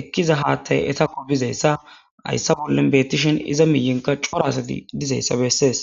ekiza haththay asakko bizayissa hyssa bolla beeteshin iza miyenkka cora asati dizayissa besses